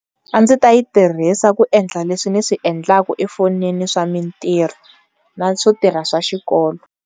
A ndzi ta yi tirhisa ku endla leswi ni swi endlaka efonini swa mintirho na swo tirha swa xikolo.